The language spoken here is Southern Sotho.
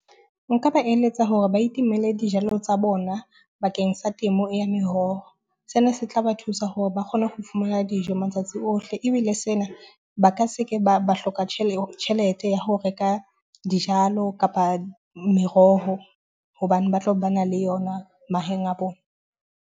Nka ba eletsa hore ba itemele dijalo tsa bona bakeng sa temo ya meroho. Sena se tla ba thusa hore ba kgone ho fumana dijo matsatsi ohle, ebile sena ba ka se ke ba ba hloka tjhele tjhelete ya ho reka dijalo kapa meroho, hobane ba tlo ba na le yona mahaeng a bona.